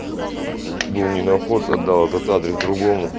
ненаход отдал этот адрес друга